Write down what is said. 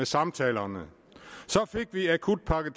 samtalerne så fik vi akutpakke